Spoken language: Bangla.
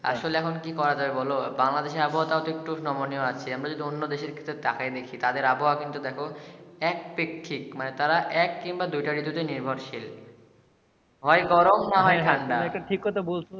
আসলে এখন কি করা যাই বলো বাংলাদেশের আবহাওয়া তাও তো একটু নমনীয় আছে আমার যদি অন্য দেশের দিকে তাকাই দেখি তাদের আবওহা কিন্তু দেখো এক পেক্ষিক মা তারা এক কিংবা দুইটার প্রতি নির্ভরশীল হয় গরম না হয় ঠান্ডা তুমি এটা ঠিক বলছো